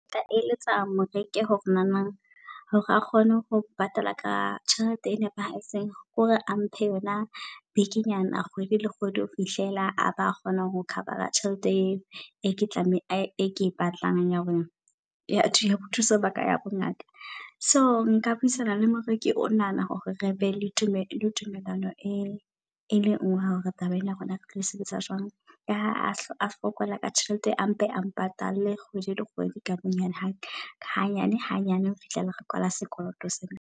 Ke tla eletsa moreki hore na nang hore a kgone ho patala ka tjhelete e nepahetseng, ke hore a mphe yona bikinyana kgwedi le kgwedi ho fihlela ha ba kgona ho cover-a tjhelete eo. E ke tlameha e ke e batlang ya hore ya ho ya ho thusa baka ya bo ngaka. So nka buisana le moreki o nahana hore re be le tumelo le tumelano e e le ngwe ya hore taba ena ya rona, re tlo sebetsa jwang. Ka ha a fokola ka tjhelete a mpe a mpatale kgwedi le kgwedi ka bonyane. Hanyane hanyane hofihlela re kwala sekoloto sena.